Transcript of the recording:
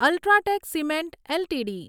UltraTech cement LTD